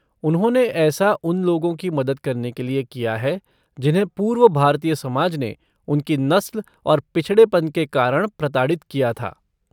उन्होंने ऐसा उन लोगों की मदद करने के लिए किया है जिन्हें पूर्व भारतीय समाज ने उनकी नस्ल और पिछड़ेपन के कारण प्रताड़ित किया था।